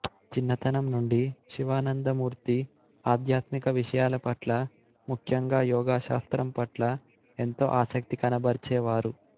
చిన్నతనం నుండి శివానందమూర్తి ఆధ్యాత్మిక విషయాల పట్ల ముఖ్యంగా యోగశాస్త్రం పట్ల ఎంతో ఆసక్తి కనబర్చేవారు